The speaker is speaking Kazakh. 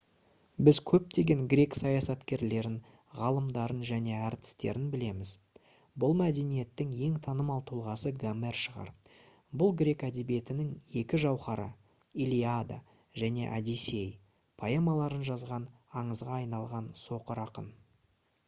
біз көптеген грек саясаткерлерін ғалымдарын және әртістерін білеміз. бұл мәдениеттің ең танымал тұлғасы гомер шығар. бұл грек әдебиетінің екі жауһары «илиада» және «одиссей» поэмаларын жазған аңызға айналған соқыр ақын